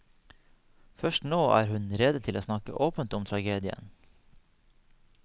Først nå er hun rede til å snakke åpent om tragedien.